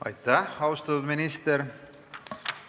Aitäh, austatud minister!